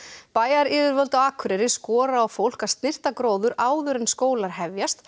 bæjaryfirvöld á Akureyri skora á fólk að snyrta gróður áður en skólar hefjast